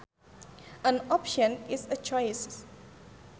An option is a choice